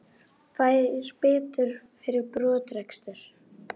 Fær bætur fyrir brottrekstur